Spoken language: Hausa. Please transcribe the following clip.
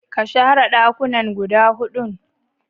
Kashare ɗakunanan guda huɗun.